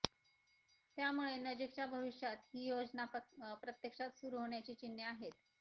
त्यामुळे नजीकच्या भविष्यात ही योजना प्रत्यक्षात सुरू होण्याची चिन्हे आहेत